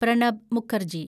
Pranab Mukherjee